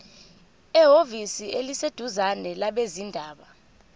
ehhovisi eliseduzane labezindaba